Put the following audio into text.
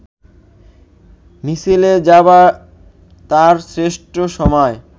মিছিলে যাবার তার শ্রেষ্ঠ সময়